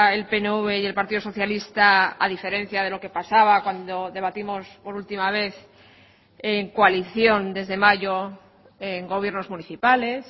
el pnv y el partido socialista a diferencia de lo que pasaba cuando debatimos por última vez en coalición desde mayo en gobiernos municipales